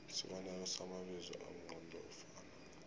isibonelo samabizo amqondofana